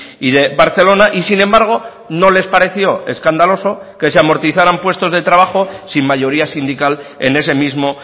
y de barcelona y sin embargo no les pareció escandaloso que se amortizaran puestos de trabajo sin mayoría sindical en ese mismo